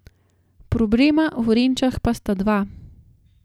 Problema v Renčah pa sta dva.